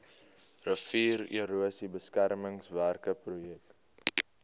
riviererosie beskermingswerke projek